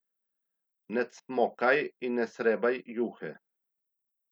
Ne cmokaj in ne srebaj juhe.